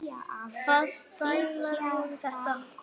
Hvaða stælar voru þetta?